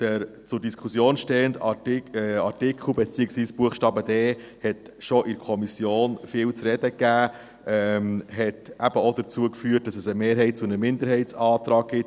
Doch der zur Diskussion stehende Artikel, beziehungsweise Buchstabe d, hat schon in der Kommission viel zu reden gegeben, hat eben auch dazu geführt, dass es einen Mehrheits- und einen Minderheitsantrag gibt.